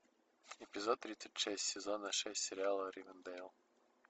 эпизод тридцать шесть сезона шесть сериала ривердэйл